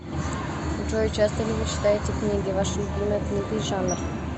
джой часто ли вы читаете книги ваша любимая книга и жанр